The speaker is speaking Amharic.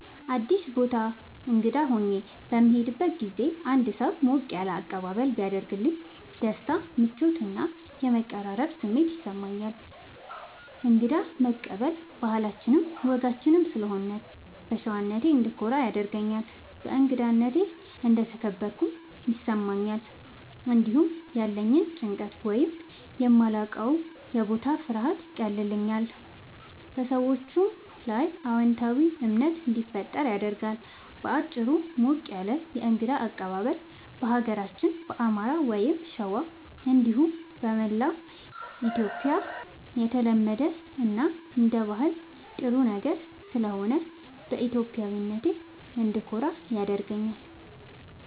አዲስ ቦታ እንግዳ ሆኜ በምሄድበት ጊዜ አንድ ሰው ሞቅ ያለ አቀባበል ቢያደርግልኝ ደስታ፣ ምቾት እና የመቀራረብ ስሜት ይሰማኛል። እንግዳ መቀበል ባህላችንም ወጋችንም ስለሆነ በሸዋነቴ እንድኮራ ያደርገኛል። በእንግዳነቴ እንደተከበርኩም ይሰማኛል። እንዲሁም ያለኝን ጭንቀት ወይም የማላዉቀዉ የቦታ ፍርሃት ያቀልልኛል፣ በሰዎቹም ላይ አዎንታዊ እምነት እንዲፈጠር ያደርጋል። በአጭሩ፣ ሞቅ ያለ የእንግዳ አቀባበል በሀገራችን በአማራ(ሸዋ) እንዲሁም በመላዉ ኢትዮጽያ የተለመደ እና አንደ ባህል ጥሩ ነገር ስለሆነ በኢትዮጵያዊነቴ እንድኮራ ያደርገኛል።